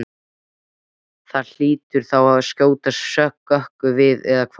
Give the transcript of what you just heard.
Það hlýtur þá að skjóta skökku við eða hvað?